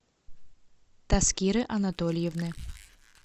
таскиры анатольевны